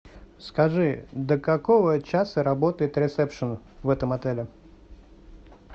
скажи до какого часа работает ресепшн в этом отеле